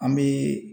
An bɛ